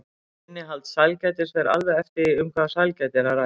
Innihald sælgætis fer alveg eftir því um hvaða sælgæti er að ræða.